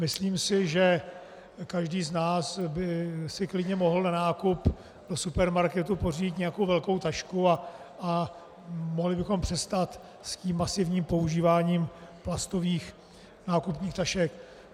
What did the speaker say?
Myslím si, že každý z nás by si klidně mohl na nákup do supermarketu pořídit nějakou velkou tašku a mohli bychom přestat s tím masivním používáním plastových nákupních tašek.